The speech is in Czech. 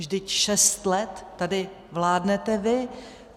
Vždyť šest let tady vládnete vy.